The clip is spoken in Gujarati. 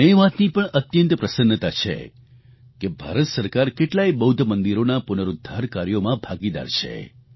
મને એ વાતની પણ અત્યંત પ્રસન્નતા છે કે ભારત સરકાર કેટલાયે બૌદ્ધ મંદિરોના પુનરુદ્ધાર કાર્યોમાં ભાગીદાર છે